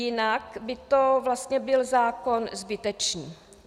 Jinak by to vlastně byl zákon zbytečný.